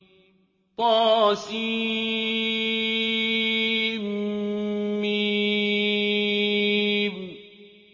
طسم